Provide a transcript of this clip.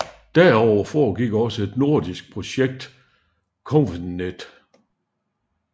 Derudover foregik også et nordisk projekt CONVNET